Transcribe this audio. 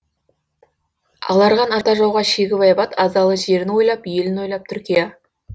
аларған ата жауға шегіп айбат азалы жерін ойлап елін ойлап түркия